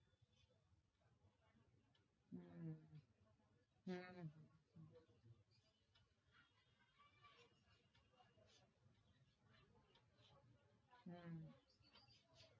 হম হম হম